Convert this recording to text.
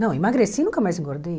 Não, emagreci e nunca mais engordei.